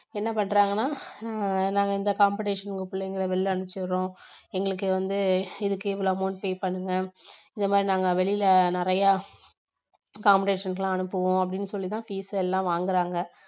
என்ன பண்றாங்கன்னா ஆஹ் நாங்க இந்த competition உங்க பிள்ளைகளை வெளியே அனுப்பிச்சு விடுறோம் எங்களுக்கு வந்து இதுக்கு இவ்வளவு amount pay பண்ணுங்க இந்த மாதிரி நாங்க வெளியில நிறைய competition க்கு எல்லாம் அனுப்புவோம் அப்படின்னு சொல்லி தான் fees எல்லாம் வாங்குறாங்க